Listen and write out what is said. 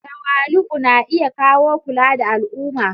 Tawali'u na iya kawo kula da al'umma.